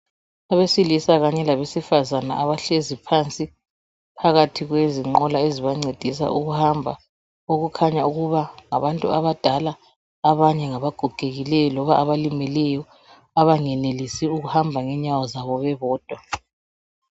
Abesilisa kanye labesifazana abahlezi phansi phakathi kwezinqola ezibancedisa ukuhamba okukhanya ukuba ngabantu abadala abanye ngabagogekileyo loba abalimeleyo abangenelisi ukuhamba ngenyawo zabo bebodwa.